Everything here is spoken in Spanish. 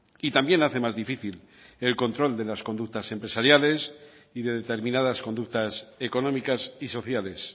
y también hace más difícil el control de las conductas empresariales y de determinadas conductas económicas y sociales